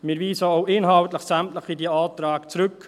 Wir weisen sämtliche dieser Anträge auch inhaltlich zurück.